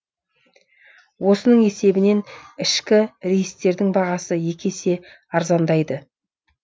осының есебінен ішкі рейстердің бағасы екі есе арзандайды